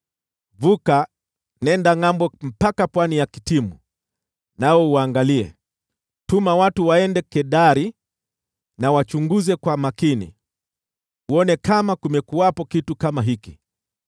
Vuka, nenda ngʼambo mpaka pwani ya Kitimu nawe uangalie, tuma watu waende Kedari, wachunguze kwa makini, uone kama kumekuwepo kitu kama hiki.